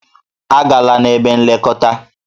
A gala n'ebe nlekọta!